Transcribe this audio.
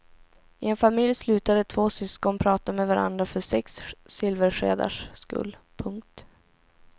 I en familj slutade två syskon prata med varandra för sex silverskedars skull. punkt